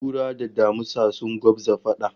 Kura da damisa sun gwabza fada